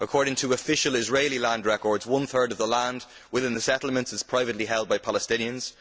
According to official Israeli land records, one third of the land within the settlements is privately held by Palestinians.